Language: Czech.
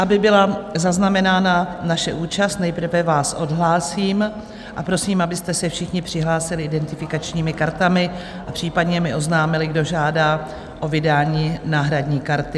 Aby byla zaznamenána naše účast, nejprve vás odhlásím a prosím, abyste se všichni přihlásili identifikačními kartami a případně mi oznámili, kdo žádá o vydání náhradní karty.